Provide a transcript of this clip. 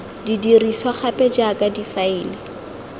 di dirisiwa gape jaaka difaele